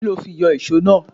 Kí lo fi yọ ìso náà?